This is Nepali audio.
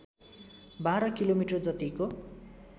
१२ किलोमिटर जतिको